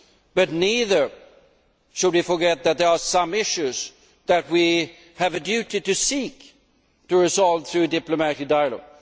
But neither should we forget that there are some issues that we have a duty to seek to resolve through diplomatic dialogue.